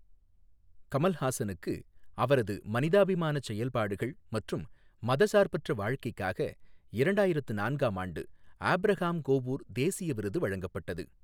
கமல்ஹாசனுக்கு அவரது மனிதாபிமான செயல்பாடுகள் மற்றும் மதச்சார்பற்ற வாழ்க்கைக்காக இரண்டாயிரத்து நான்காம் ஆண்டு ஆபிரகாம் கோவூர் தேசிய விருது வழங்கப்பட்டது.